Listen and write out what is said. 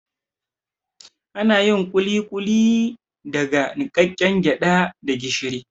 Anayin kulikuli daga niƙaƙƙen gyaɗa da gishiri